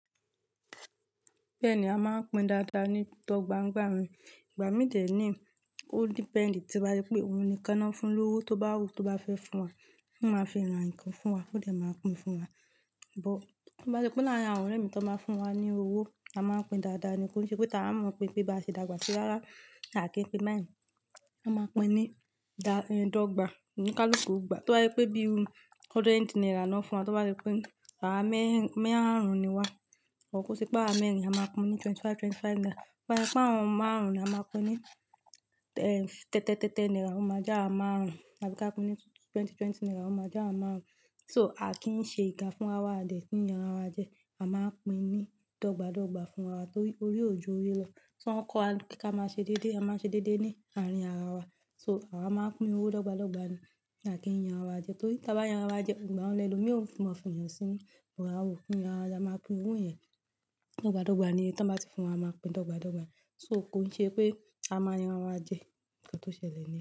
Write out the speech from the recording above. Bẹ́ẹ̀ ni a máa ń pín dáadáa ní dọ́gba ńgba mi. Ìgbà mí dè ní ó depend ti bá jẹ pé òun nìkan ná fún lówó tó bá wù tó bá fẹ́ fún wa. Ó máa fi ra ǹkan fún wa, ó dẹ̀ máa pín fún wa. But bí oọ́ ṣe pé láàrín àwọn ọ̀rẹ́ mi tó máa ń fún wa ní owó, a máa ń pín dáadáa nìí. Kó ṣe pé tà á mọ̀ pé bí a ṣe dàgbà ṣe rárá à kí pín beyen. A máa pín ní dà, ẹ́, dọ́gba oníkálukú ogbà. Tí oo bá yẹ pé bíi o, hundred naira ná fún wa, tó bá yẹ pé àwa mẹ́ẹ̀rín, mẹ́rẹ̀ àárùn ni wa, or kó ṣe pé àwá mẹ́rin, a máa pín ní twenty-five, twenty-five naira. Pa àwọn márùn-ún ni a máa pín ní, ẹ́, tẹ́tẹ́, tẹ́tẹ́ naira ó máa já àwa márùn-ún. Àbí ká pín ní twenty, twenty naira ó máa já àwa márùn-ún. So a kì ń ṣe ìkà fún ra wa, a dẹ̀ kí ń yanra wa jẹ. A máa ń pín ní dọ́gba dọ́gba fún wa torí orí òjo orí lọ. Tí wọ́n kọ́ wa pé ká máa ṣe déédé, a máa ṣe déédé ní àárín ara wa. So àwa máa ń pín owó dọ́gba dọ́gba ni à kí ń yanra wa jẹ. Torí tí a bá yanra wa jẹ, ǹ jẹ́ ọ̀rẹ́ ẹni lómi, ó ń fún mọ́, fún èèyàn síi nu. But àwa oo kin yàn ra wa, a máa pín owó yẹn dọ́gba dọ́gba ni. Tí wọ́n bá ti fún wa, a máa pín dọ́gba dọ́gba. So kó ṣe pé a máa yanra wa jẹ nǹkan tó ṣẹlẹ̀ níyen.